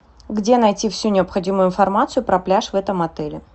где найти всю необходимую информацию про пляж в этом отеле